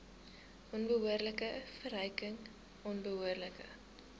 onbehoorlike verryking onbehoorlike